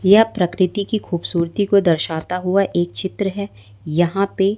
यह प्रकृति की खूबसूरती को दर्शाता हुआ एक चित्र है यहां पे--